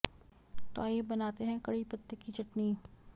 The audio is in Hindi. तो आइये बनाते हैं कड़ी पत्ते की चटनी